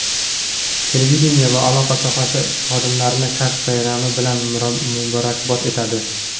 televideniye va aloqa sohasi xodimlarini kasb bayrami bilan muborakbod etadi!.